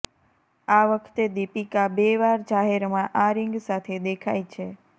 આ વખતે દીપિકા બે વાર જાહેરમાં આ રિંગ સાથે દેખાઈ છે